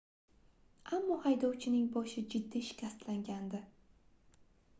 ammo haydovchining boshi jiddiy shikastlangandi